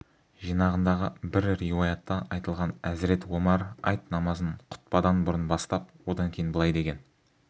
жинағындағы бір риуаятта айтылған әзірет омар айт намазын құтпадан бұрын бастап одан кейін былай деген